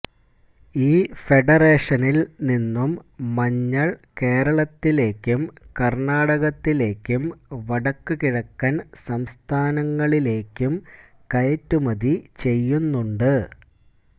ഈ ഫെഡറേഷനില് നിന്നും മഞ്ഞള് കേരളത്തിലേക്കും കര്ണാടകത്തിലേക്കും വടക്കുകിഴക്കന് സംസ്ഥാനങ്ങളിലേക്കും കയറ്റുമതി ചെയ്യുന്നുണ്ട്